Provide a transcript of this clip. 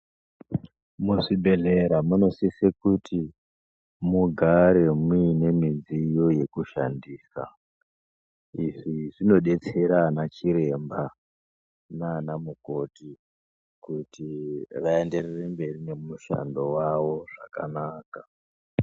Muzvibhedhlera munosise kuti mugare muine midziyo yekushandisa. Izvi zvinobetsera anachiremba nanamukoti kuti vaenderere mberi nemushando vavo zvakanaka.